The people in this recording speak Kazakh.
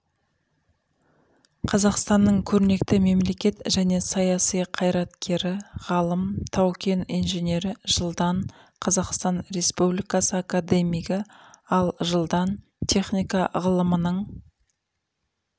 қазақстанның көрнекті мемлекет және саяси қайраткері ғалым тау-кен инженері жылдан қазақстан республикасы академигі ал жылдан техника ғылымының